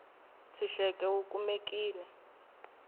tshuxeko wu kumekile